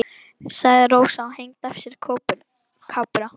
sagði Rósa og hengdi af sér kápuna.